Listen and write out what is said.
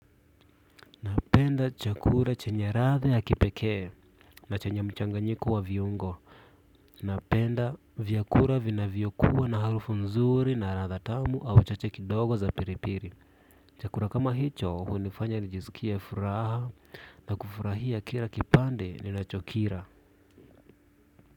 Napenda chakura chenye radha ya kipekee, na chenya mchanganyiko wa viungo. Napenda vyakura vinavyokuwa na harufu nzuri na radha tamu au chache kidogo za piripiri. Chakura kama hicho hunifanya nijisikie furaha na kufurahia kira kipande ninachokira.